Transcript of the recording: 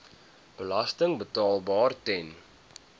belasting betaalbaar ten